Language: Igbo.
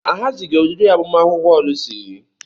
Ahazighị oriri agbamakwụkwọ Lucy.